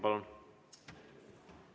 Palun!